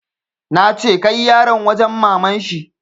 Nace kai yaran wajen maman shi!